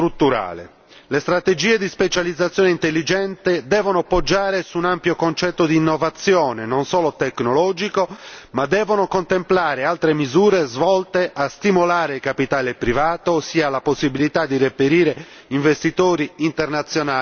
Le strategie di specializzazione intelligente devono poggiare su un ampio concetto di innovazione, non solo tecnologico, ma devono contemplare altre misure volte a stimolare il capitale privato, ossia la possibilità di reperire investitori internazionali privati.